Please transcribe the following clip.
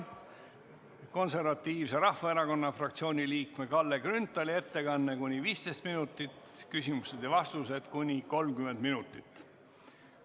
Konservatiivse Rahvaerakonna fraktsiooni liikme Kalle Grünthali ettekanne on kuni 15 minutit, küsimused ja vastused kuni 30 minutit.